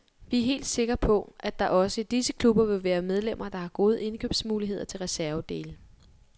Vi er helt sikker på, at der også i disse klubber vil være medlemmer, der har gode indkøbsmuligheder til reservedele.